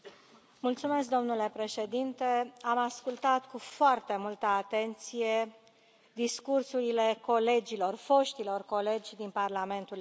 Domnule președinte, am ascultat cu foarte multă atenție discursurile colegilor, foștilor colegi din Parlamentul European.